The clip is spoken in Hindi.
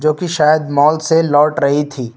जो कि शायद मॉल से लौट रही थी।